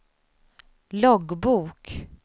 loggbok